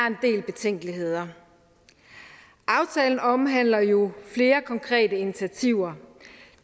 en del betænkeligheder aftalen omhandler jo flere konkrete initiativer